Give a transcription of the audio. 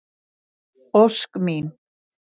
Ósk mín.